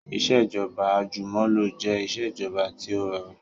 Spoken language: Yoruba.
Ìsèjọba àjùmọ̀lo jẹ ìsèjọba tí ó rọrùn